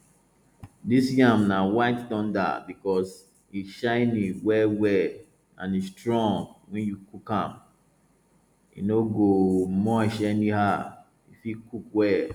dis yam na white thunder because e shiny wellwell and e strong wen you cook am e no go mush anyhow e fit cook well